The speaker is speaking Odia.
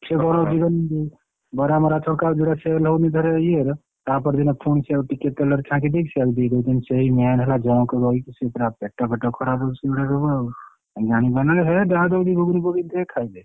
ସେ କଣ ବରାମରା ଛଙ୍କା ହଉଛି ସେଗୁଡା sale ହଉନି ଫେରେ ଇଏର ତାପରଦିନ ଫୁଣି ସେଇଆକୁ ଟିକେ ତେଲରେ ଛାଣିଦେଇକି ସେଇଆକୁ ଦେଇଦଉଛନ୍ତି ସେଇ main ହେଲା junk ରହିକି ସେ ପୁରା ପେଟ ଫେଟ ଖରାପ ହଉଛି ଶୁଣିଲାବେଳକୁ ଆଉ ଜାଣିପାରୁନାହାନ୍ତି ହେ ଯାହା ଦଉଛି ଯୋଉଠି ପକେଇ ଦେ ଖାଇଦେ।